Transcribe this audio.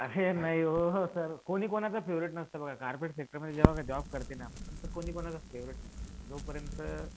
अरे नाही व सर कोणी कुणाचा फेव्हरेट नसतं बघा कार्पोरेट सेक्टरमध्ये जेंव्हा जॉब करते ना, कुणी कुणाचं फेव्हरेट नसतं. जोपर्यंत